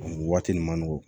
Nin waati nin man nɔgɔn